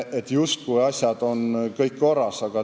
Siis justkui oleks asjad kõik korras.